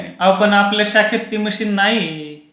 आओ पण आपल्या शाखेत ती मशीन नाही आहे.